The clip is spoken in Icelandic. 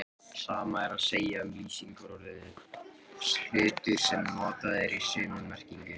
Sama er að segja um lýsingarorðið hultur sem notað er í sömu merkingu.